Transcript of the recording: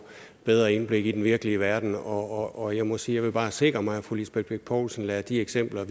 bedre indblik i den virkelige verden og jeg må sige at jeg bare vil sikre mig at fru lisbeth bech poulsen lader de eksempler